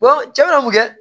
cɛ na kun tɛ